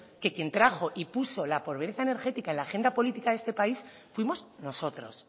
que quien trajo y puso la pobreza energética en la agenda política de esta país fuimos nosotros